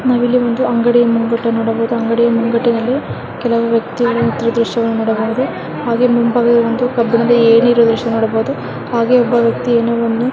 ನಾವು ಇಲ್ಲಿ ಒಂದು ಅಂಗಡಿಯ ಮುಂಗಟ್ಟನ್ನು ನೋಡಬಹುದು ಅಂಗಡಿಯ ಮುಂಗಟ್ಟಿನಲ್ಲಿ ಕೆಲವು ವ್ಯಕ್ತಿಗಳ ತಿರುಗುವ ದೃಶ್ಯವನ್ನು ನೋಡಬಹುದು. ಹಾಗೆ ಮುಂಭಾಗದವಂದು ಕಬ್ಬಿಣದ ಏಣಿ ಇರೋ ದೃಶ್ಯ ನೋಡಬಹುದು. ಹಾಗೆ ಒಬ್ಬ ವ್ಯಕ್ತಿ ಎನೊನು --